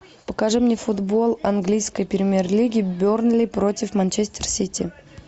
покажи мне футбол английской премьер лиги бернли против манчестер сити